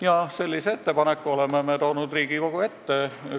Ja sellise ettepaneku oleme me toonud Riigikogu ette.